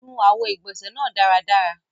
Nù awọ̀ igbọ́nse nàà daradara!